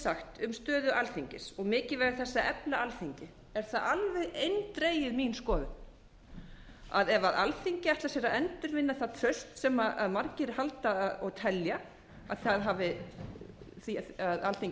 sagt um stöðu alþingis og mikilvægi þess að efla alþingi er það alveg eindregið mín skoðun að ef alþingi ætlar sér að endurvinna það traust sem margir halda og telja að alþingi